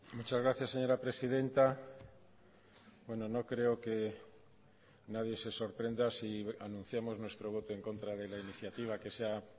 muchas gracias señora presidenta bueno no creo que nadie se sorprenda si anunciamos nuestro voto en contra de la iniciativa que se ha